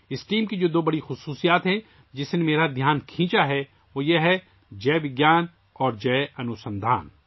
اس team کی دو بڑی خصوصیات، جنہوں نے میری توجہ اپنی طرف مبذول کروائی، یہ ہیں جئے وگیان اور جئے انوسندھان